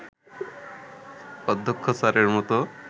অধ্যক্ষ স্যারের মতো